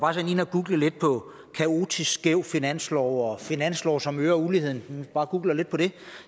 var inde at google lidt på kaotisk skæv finanslov og finanslove som øger uligheden man kan bare google lidt på det og